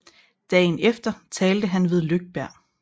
Dagen efter talte han ved Lögberg